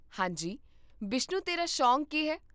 ਹਾਂ ਜੀ , ਬਿਸ਼ਨੂ ਤੇਰਾ ਸ਼ੌਕ ਕੀ ਹੈ?